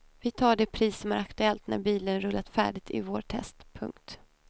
Vi tar det pris som är aktuellt när bilen rullat färdigt i vårt test. punkt